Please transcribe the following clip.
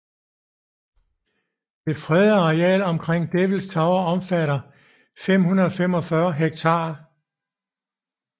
Det fredede areal omkring Devils Tower omfatter 545 ha